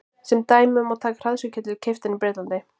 sem dæmi má taka hraðsuðuketil keyptan í bretlandi